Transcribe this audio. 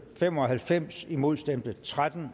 fem og halvfems imod stemte tretten